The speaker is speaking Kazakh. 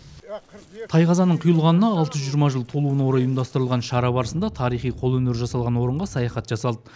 тайқазанның құйылғанына алты жүз жиырма жыл толуына орай ұйымдастырылған шара барысында тарихи қолөнер жасалған орынға саяхат жасалды